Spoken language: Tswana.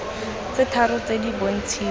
tse tharo tse di bontshiwa